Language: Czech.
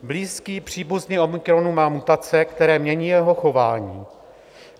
Blízký příbuzný omikronu má mutace, které mění jeho chování.